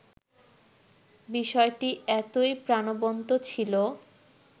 বিষয়টি এতোই প্রাণবন্ত ছিল